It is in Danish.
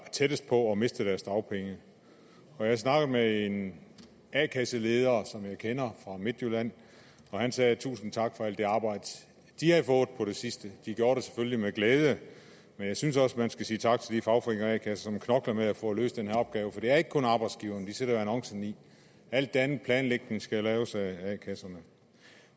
er tættest på at miste deres dagpenge jeg snakkede med en a kasseleder som jeg kender fra midtjylland og han sagde tusind tak for alt det arbejde de havde fået på det sidste de gjorde det selvfølgelig med glæde men jeg synes også man skal sige tak til de fagforeninger og a kasser som knokler med at få løst den her opgave for det er ikke kun arbejdsgiveren de sætter jo annoncen i alt den anden planlægning skal laves af a kasserne